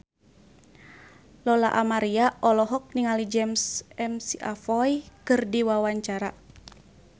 Lola Amaria olohok ningali James McAvoy keur diwawancara